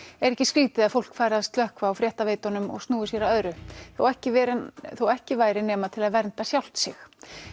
er ekki skrítið að fólk fari að slökkva á fréttaveitunum og snúa sér að öðru þó ekki þó ekki væri nema til að vernda sjálft sig